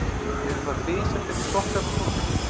Eruð það þið sem takið sokkana úr þvottinum?